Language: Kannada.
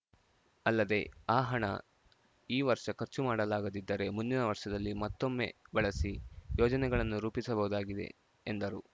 ಅಲ್ಲದೆ ಆ ಹಣ ಈ ವರ್ಷ ಖರ್ಚು ಮಾಡಲಾಗದಿದ್ದರೆ ಮುಂದಿನ ವರ್ಷದಲ್ಲಿ ಮತ್ತೊಮ್ಮೆ ಬಳಸಿ ಯೋಜನೆಗಳನ್ನು ರೂಪಿಸಬಹುದಾಗಿದೆ ಎಂದರು